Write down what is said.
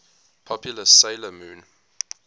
popular 'sailor moon